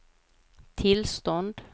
tillstånd